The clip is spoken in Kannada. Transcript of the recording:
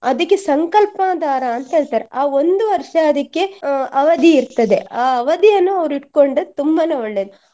ಅದಿಕ್ಕೆ ಸಂಕಲ್ಪ ದಾರ ಅಂತ ಹೇಳ್ತಾರೆ ಆ ಒಂದು ವರ್ಷ ಅದಿಕ್ಕೆ ಅಹ್ ಅವಧಿ ಇರ್ತದೆ ಆ ಅವಧಿಯನ್ನು ಅವ್ರು ಇಟ್ಕೊಂಡ್ರೆ ತುಂಬಾನೆ ಒಳ್ಳೆಯದು.